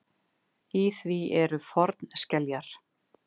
Í því eru fornskeljar.